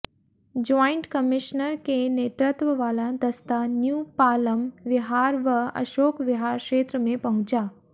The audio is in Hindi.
ज्वाइंट कमिश्नर के नेतृत्व वाला दस्ता न्यू पालम विहार व अशोक विहार क्षेत्र में पहुंचा